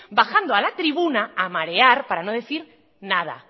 bajando a la tribuna a marear para no decir nada